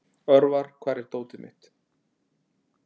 Örvar, hvar er dótið mitt?